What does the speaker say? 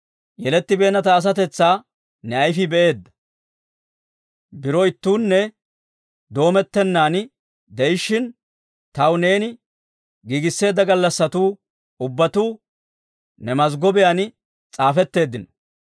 yelettibeenna ta asatetsaa ne ayifii be'eedda. Biro ittuunne doomettennan de'ishshin, taw neeni giigiseedda gallassatuu ubbatuu ne mazggobiyaan s'aafetteeddino.